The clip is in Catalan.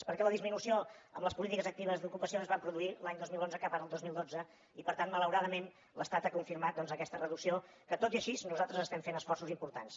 perquè la disminució amb les polítiques actives d’ocupació es van produir l’any dos mil onze cap ara el dos mil dotze i per tant malauradament l’estat ha confirmat doncs aquesta reducció que tot i així nosaltres estem fent esforços importants